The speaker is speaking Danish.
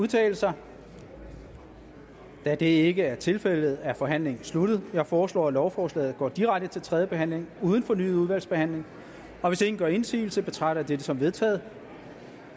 udtale sig da det ikke er tilfældet er forhandlingen sluttet jeg foreslår at lovforslaget går direkte til tredje behandling uden fornyet udvalgsbehandling hvis ingen gør indsigelse betragter jeg det som vedtaget